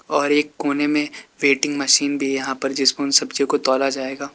और एक कोने में वेटिंग मशीन भी यहां पर जिसको सब्जियों तोला जाएगा।